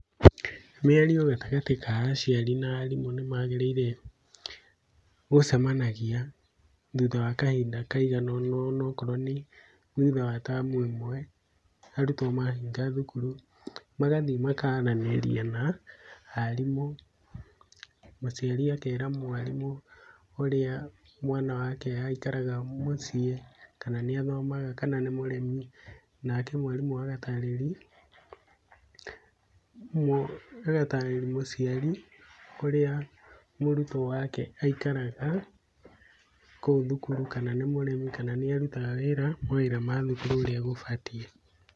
Mĩario gatagatĩ ka aciari na arimũ nĩmagĩrĩire gũcemanagia thutha wa kahinda kaiganona, ona ũkorwo nĩ thutha wa term ĩmwe arutwo mahinga thukuru, magathiĩ makaranĩria na arimũ, mũciari akera mwarimũ ũrĩa mwana wake aikaraga mũciĩ, kana nĩathomaga kana nĩ mũremi. Nake mwarimũ agatarĩri agatarĩri mũciari ũrĩa mũrutwo wake aikaraga kũu thukuru, kana nĩ mũremi kana nĩarutaga wĩra, mawĩra mathukuru ũrĩa gũbatiĩ.